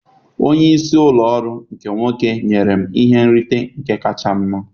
Onye isi ụlọ ọrụ nke nwoke nyere m ihe nrite nke kacha mma